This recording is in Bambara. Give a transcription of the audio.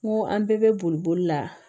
N ko an bɛɛ bɛ boli boli la